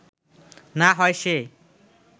না হয় সে